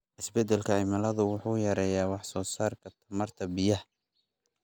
Isbeddelka cimilada wuxuu yareeyaa wax soo saarka tamarta biyaha.